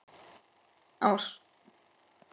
Ávextir andans leiða söng.